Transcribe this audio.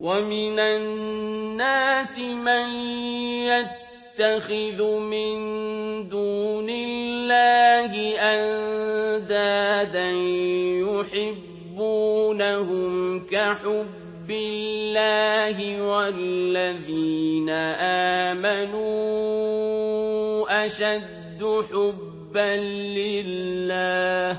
وَمِنَ النَّاسِ مَن يَتَّخِذُ مِن دُونِ اللَّهِ أَندَادًا يُحِبُّونَهُمْ كَحُبِّ اللَّهِ ۖ وَالَّذِينَ آمَنُوا أَشَدُّ حُبًّا لِّلَّهِ ۗ